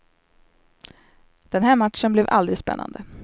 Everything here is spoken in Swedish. Den här matchen blev aldrig spännande.